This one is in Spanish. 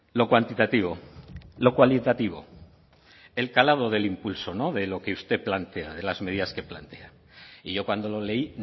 lo cuantitativo lo cualitativo el calado del impulso no de lo que usted plantea de las medidas que plantea y yo cuando lo leí